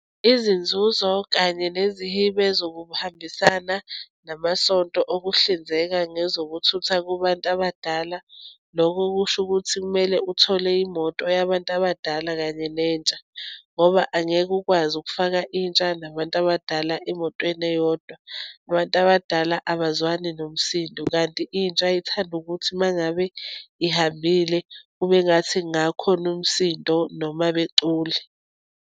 Izinzuzo kanye nezihibe zokuhambisana namasonto okuhlinzeka ngezokuthutha kubantu abadala. Loko kusho ukuthi kumele uthole imoto yabantu abadala, kanye nentsha, ngoba angeke ukwazi ukufaka intsha nabantu abadala emotweni eyodwa. Abantu abadala abazwani nomsindo, kanti intsha ithanda ukuthi uma ngabe ihambile, kube ngathi kungakhona umsindo, noma becule.